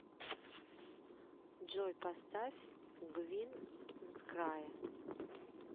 джой поставь гвин мскрае